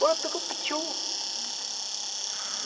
Bora pegar o pitiu.